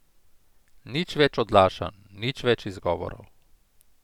Nič več odlašanj, nič več izgovorov.